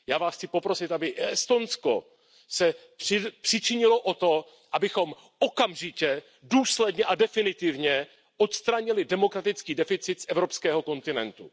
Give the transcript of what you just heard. Já Vás chci poprosit, aby Estonsko se přičinilo o to, abychom okamžitě, důsledně a definitivně odstranili demokratický deficit z evropského kontinentu.